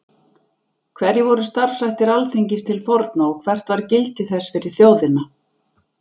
Hverjir voru starfshættir Alþingis til forna og hvert var gildi þess fyrir þjóðina?